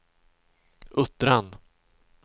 Uttran